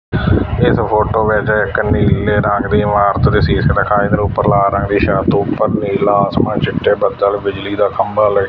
ਇਸ ਫੋਟੋ ਵਿੱਚ ਇੱਕ ਨੀਲੇ ਰੰਗ ਦੀ ਇਮਾਰਤ ਦੇ ਸੀਸ ਦਿਖਾਈ ਫੇਰ ਉੱਪਰ ਲਾਲ ਰੰਗ ਦੀ ਛੱਤ ਉੱਪਰ ਨੀਲਾ ਆਸਮਾਨ ਚਿੱਟੇ ਬੱਦਲ ਬਿਜਲੀ ਦਾ ਖੰਭਾ ਲਾਈਟ --